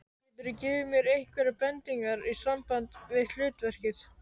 Geturðu gefið mér einhverjar bendingar í sambandi við hlutverkið?